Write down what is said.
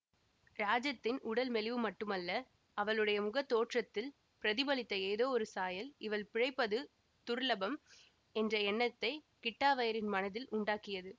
ராஜத்தின் உடல் மெலிவு மட்டுமல்ல அவளுடைய முகத்தோற்றத்தில் பிரதிபலித்த ஏதோ ஒரு சாயல் இவள் பிழைப்பது துர்லபம் என்ற எண்ணத்தை கிட்டாவய்யரின் மனதில் உண்டாக்கியது